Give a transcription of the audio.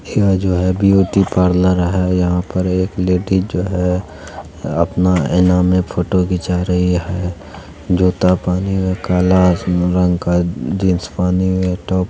यह जो है ब्यूटी पार्लर है यहाँ पर एक लेडी जो है अपना आईना में फोटो खींचा रही है जूता पहनी है काला अस रंग का जीन्स पहनी हुई है टॉप --